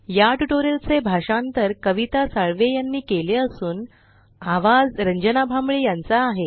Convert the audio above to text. या ट्यूटोरियल चे भाषांतर कविता साळवे यांनी केले असून आवाज रंजना भांबळे यांचा आहे